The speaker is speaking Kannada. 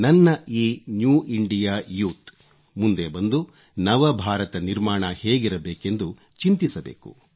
ನನ್ನ ಈ ನ್ಯೂ ಇಂಡಿಯಾ ಯೂತ್ ಮುಂದೆ ಬಂದು ನವ ಭಾರತ ನಿರ್ಮಾಣ ಹೇಗಿರಬೇಕೆಂದು ಚಿಂತಿಸಬೇಕು